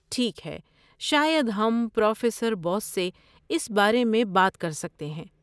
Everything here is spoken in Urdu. ٹھیک ہے، شاید ہم پروفیسر بوس سے اس بارے میں بات کر سکتے ہیں۔